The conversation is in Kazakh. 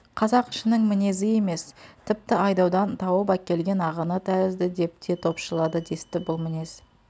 қазақ ішінің мінезі емес тіпті айдаудан тауып әкелген ағыны тәрізді деп те топшылады десті бұл мінез